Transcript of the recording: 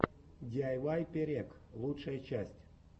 диайвай перек лучшая часть